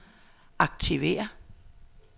aktiver